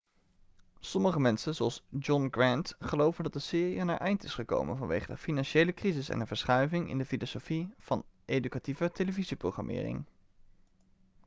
sommige mensen zoals john grant geloven dat de serie aan haar eind is gekomen vanwege de financiële crisis en een verschuiving in de filosofie van educatieve televisieprogrammering